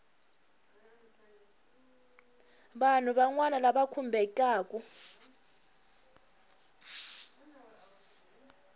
vanhu van wana lava khumbekaku